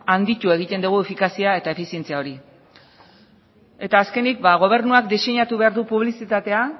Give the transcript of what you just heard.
handitu egiten dugu efikazia eta efizientzia hori eta azkenik gobernuak diseinatu behar du publizitatea